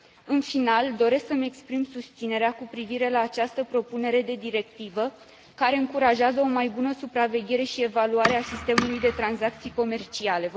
În final, doresc să mi exprim susținerea cu privire la această propunere de directivă care încurajează o mai bună supraveghere și evaluare a sistemului de tranzacții comerciale.